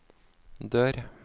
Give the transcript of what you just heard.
dør